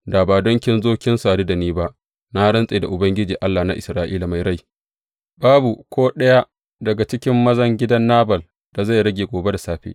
Da ba don kin zo kin sadu da ni ba, na rantse da Ubangiji, Allah na Isra’ila Mai Rai, babu ko ɗaya daga cikin mazan gidan Nabal da zai rage gobe da safe.